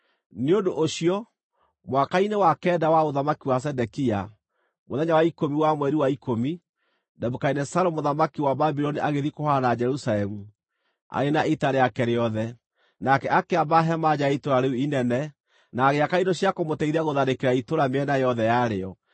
Nĩ ũndũ ũcio, mwaka-inĩ wa kenda wa ũthamaki wa Zedekia, mũthenya wa ikũmi, wa mweri wa ikũmi, Nebukadinezaru mũthamaki wa Babuloni agĩthiĩ kũhũũrana na Jerusalemu arĩ na ita rĩake rĩothe. Nake akĩamba hema nja ya itũũra rĩu inene, na agĩaka indo cia kũmũteithia gũtharĩkĩra itũũra mĩena yothe yarĩo.